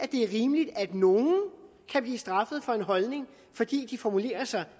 er rimeligt at nogle kan blive straffet for en holdning fordi de formulerer sig